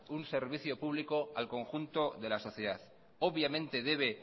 un servicio público al conjunto de la sociedad obviamente debe